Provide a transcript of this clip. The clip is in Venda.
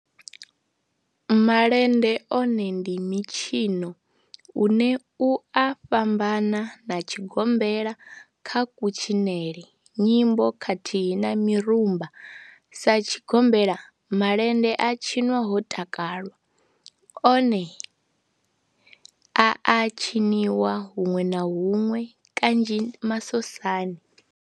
Malende one ndi mitshino une u a fhambana na tshigombela kha kutshinele, nyimbo khathihi na mirumba. Sa tshigombela, malende a tshinwa ho takalwa, one a a tshiniwa hunwe na hunwe kanzhi masosani.